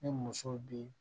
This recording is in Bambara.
Ni muso bi